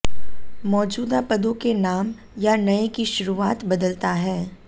मौजूदा पदों के नाम या नए की शुरूआत बदलता है